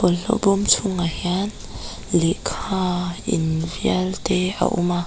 bawlhhlawh bâwm chhûngah hian lehkha invial te a awm a.